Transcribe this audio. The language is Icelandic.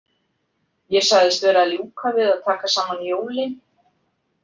Ég sagðist vera að ljúka við að taka saman jólin.